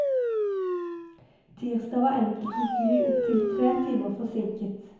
Tirsdag var enkelte fly opptil tre timer forsinket.